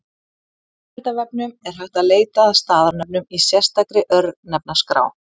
Á Veraldarvefnum er hægt að leita að staðarnöfnum í sérstakri Örnefnaskrá.